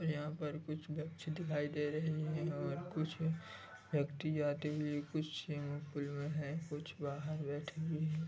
यहाँ पर कुछ बच्चे दिखाई दे रहे है और कुछ व्यक्ति जाते हुए कुछ में है कुछ बाहर बैठे हुए है।